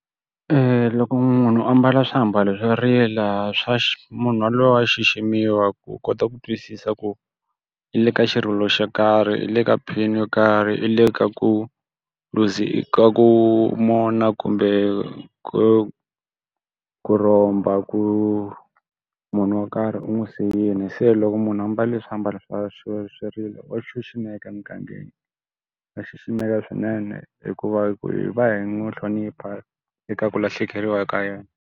loko munhu a mbala swiambalo swo rila swa xi munhu yaloye wa xiximiwa ku kota ku twisisa ku i le ka xirilo xo karhi, i le ka pain-i yo karhi, i le ka ku loose i ku mourn-a kumbe ku ku rhomba, ku munhu wo karhi u n'wi siyile. Se loko munhu a mbale swiambalo swa swo swirilo wa xiximeka emugangeni. Wa xiximeka swinene hikuva hi ku hi va hi n'wi hlonipha eka ku lahlekeriwa eka yena.